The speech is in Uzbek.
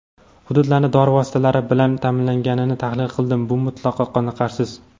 Hududlarni dori vositalari bilan ta’minlanganini tahlil qildim – bu mutlaqo qoniqarsiz.